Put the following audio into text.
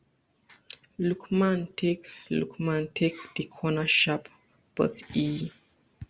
lookman take lookman take di corner sharp but e